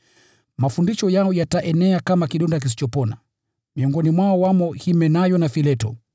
Mafundisho yao yataenea kama kidonda kisichopona. Miongoni mwao wamo Himenayo na Fileto